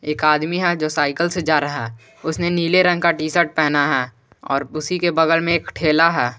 एक आदमी है जो साइकिल से जा रहा है उसने नीले रंग का टी शर्ट पहना है और उसी के बगल में एक ठेला है।